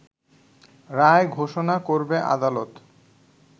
রায় ঘোষণা করবে আদালত